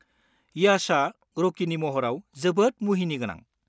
येसआ रकिनि महराव जोबोद मुहिनिगोनां।